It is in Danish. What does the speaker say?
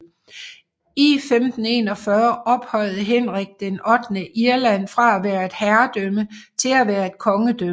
I 1541 ophøjede Henrik VIII Irland fra at være et herredømme til at være kongedømme